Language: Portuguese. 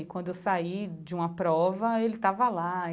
E quando eu saí de uma prova, ele estava lá.